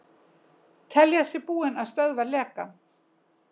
Telja sig búin að stöðva lekann